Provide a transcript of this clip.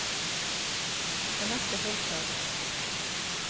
Anette Holter